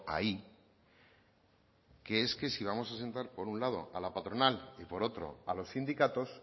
ahí que es que si vamos a sentar por un lado a la patronal y por otro a los sindicatos